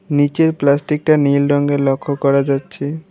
নিচের প্লাস্টিকটা নীল রঙের লক্ষ্য করা যাচ্ছে।